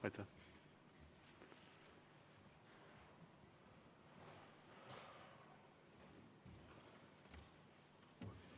Aitäh!